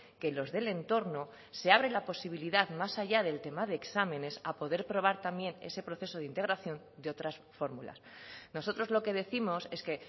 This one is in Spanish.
que los del entorno se abre la posibilidad más allá del tema de exámenes a poder probar también ese proceso de integración de otras fórmulas nosotros lo que décimos es que